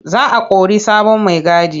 Za o kori sabon maigadi.